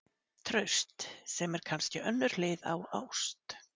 TRAUST- sem er kannski önnur hlið á ást.